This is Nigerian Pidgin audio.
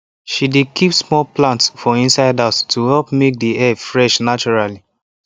she dey keep small plant for inside house to help make the air fresh naturally